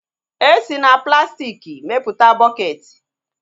E si na plastiki mepụta bọkeeti